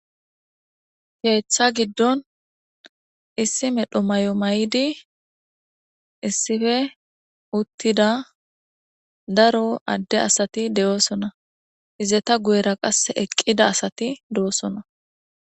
Keetha giddon issi medho mayo mayidi issippe uttida daro adde asati de7osona izeta guyera qassi eqqida asati doosona.